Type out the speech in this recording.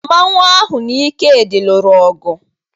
Mmanwu ahụ na Ikedi lụrụ ọgụ.